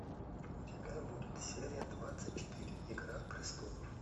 у тебя будет серия двадцать четыре игра престолов